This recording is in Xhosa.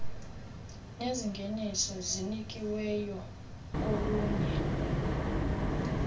nezingeniso zinikiweyo kolunye